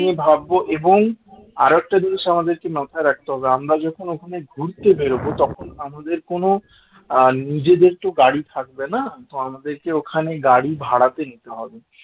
নিয়ে ভাববো এবং আর একটা জিনিস আমাদেরকে মাথায় রাখতে হবে আমরা যখন ওখানে ঘুরতে বেরোবো তখন আমাদের কোন আহ নিজেদের তো গাড়ি থাকবে না, আমাদের ওখানে গাড়ি ভাড়াতে নিতে হবে